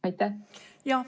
Aitäh!